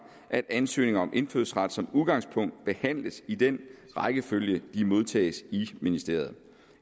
at ansøgninger om indfødsret som udgangspunkt behandles i den rækkefølge de modtages i ministeriet